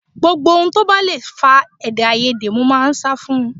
Gbogbo ohun tó bá le fa èdèàìyedè mo máa ń sá fún un ní